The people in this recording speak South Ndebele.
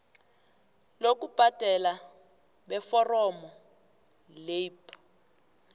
bokubhadela beforomo leirp